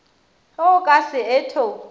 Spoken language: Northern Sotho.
ge o ka se etho